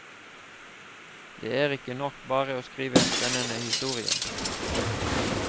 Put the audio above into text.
Det er ikke nok bare å skrive en spennende historie.